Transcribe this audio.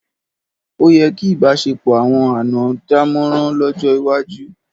Ó yẹ kí ìbáṣepọ̀ àwọn àná dámọ̀ràn lọ́jọ́ iwájú.